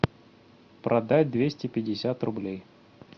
продать двести пятьдесят рублей